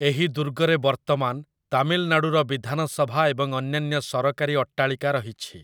ଏହି ଦୁର୍ଗରେ ବର୍ତ୍ତମାନ ତାମିଲନାଡୁର ବିଧାନସଭା ଏବଂ ଅନ୍ୟାନ୍ୟ ସରକାରୀ ଅଟ୍ଟାଳିକା ରହିଛି ।